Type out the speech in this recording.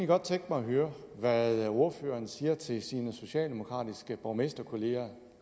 godt tænke mig at høre hvad ordføreren siger til sine socialdemokratiske borgmesterkolleger